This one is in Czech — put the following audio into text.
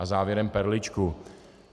A závěrem perličku.